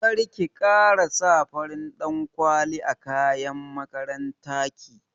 Karki kara sa farin ɗan kwali a kayan makaranta ki